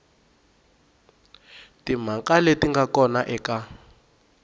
timhaka leti nga kona eka